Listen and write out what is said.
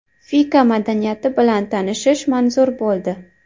Fika madaniyati bilan tanishish manzur bo‘ldi.